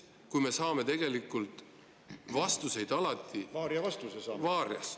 Esiteks, me saame tegelikult vastuseid alati varias.